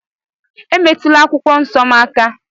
Emetụla akwụkwọ nsọ m aka